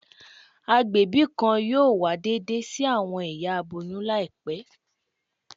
Agbẹbi kan yoo wa deede si awọn iya aboyun laipe